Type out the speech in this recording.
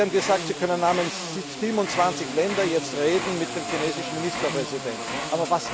Erstens Sie haben gesagt, Sie können namens 27 Ländern jetzt mit dem chinesischen Ministerpräsidenten reden.